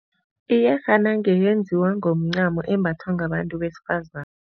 Iyerhana ngeyenziwa ngomcamo embathwa ngabantu besifazane.